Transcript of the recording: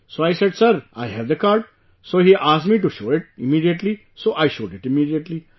So I said sir, I have the card, so he asked me to show it immediately, so I showed it immediately